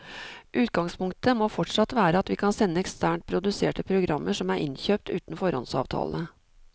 Utgangspunktet må fortsatt være at vi kan sende eksternt produserte programmer som er innkjøpt uten foråndsavtale.